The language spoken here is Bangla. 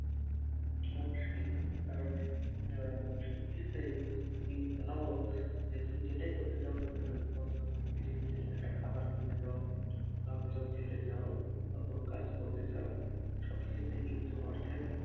সে বা ঠিক কারণ ইয়ে মানে সবকিছুতেই উম তুমি ভাবো যে তুমি যেটাই করতে চাও না কেন এখন বর্তমান পৃথিবীতে একটা খাবার কিনতে যাও বা কোথাও যেতে চাও বা কোনো কাজ করতে চাও সবকিছুতেই কিন্তু অর্থের